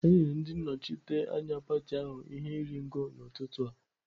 E nyere ndị nnọchiteanya pati ahụ ihe iri ngo n'ụtụtụ a.